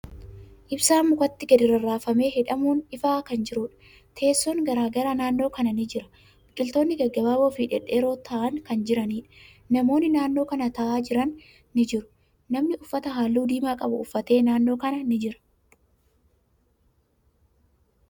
Ibsaan mukatti gadi rarraafamee hidhamuun ifaa kan jiruudha. Teesson garagaraa naannoo kana ni jira, biqiltootni gaggabaaboo fi dhedheeroo ta'an kan jiraniidha. Namootni naannoo kana taa'aa jiran ni jiru. Namni uffata haalluu diimaa qabu uffate naannoo kana ni jira.